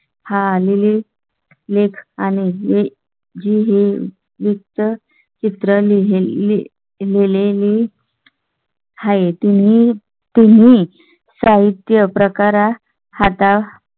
हा आलेली लेख आणि झी हे पिक्चर चित्र लिहिली गेलेली. हाय तुम्ही तुम्ही साहित्य प्रकार आता.